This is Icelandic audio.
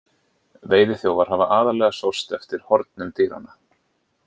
Veiðiþjófar hafa aðallega sóst eftir hornum dýranna.